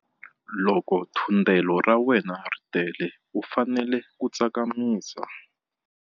Loko thundelo ra wena ri tele u fanele ku tsakamisa.